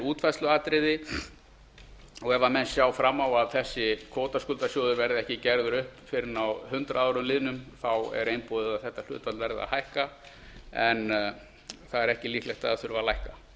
útfærsluatriði og ef menn sjá fram á að þessi kvótaskuldasjóður verði ekki gerður upp fyrr en að hundrað árum liðnum er einboðið að þetta hlutfall verður að hækka það er ekki líklegt að það þurfi að